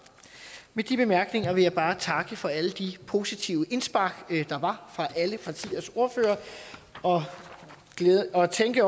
med de bemærkninger vil jeg bare takke for alle de positive indspark der var fra alle partiers ordførere og tænke